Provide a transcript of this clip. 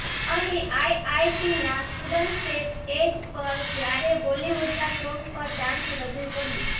અહી આઇઆઇટીના સ્ટૂડન્ટસે સ્ટેજ પર જ્યારે બોલિવૂડના સોન્ગ પર ડાન્સ રજૂ કર્યું